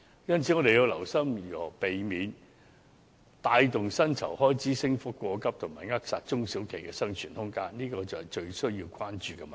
因此，我們要留心如何避免帶動薪酬開支升幅過急及扼殺中小企的生存空間，這才是最需要關注的問題。